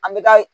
An bɛ taa